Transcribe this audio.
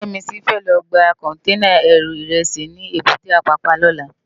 Yemisi fè lò gbá kònténá èrú irèsí ni ébùté Apapa lòlá